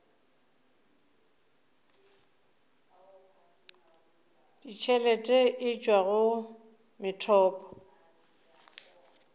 ditšhelete e tšwa go methopo